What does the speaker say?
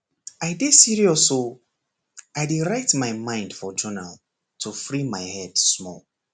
i dey serious o i dey write my mind for journal to free my head small